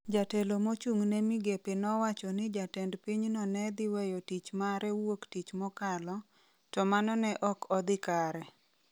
Jatelo mochung' ne migepe nowacho ni jatend pinyno ne dhi weyo tich mare wuok tich mokalo, to mano ne ok odhi kare.